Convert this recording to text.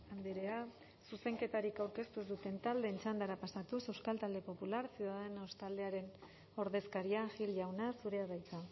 andrea zuzenketarik aurkeztu ez duten taldeen txandara pasatuz euskal talde popular ciudadanos taldearen ordezkaria gil jauna zurea da hitza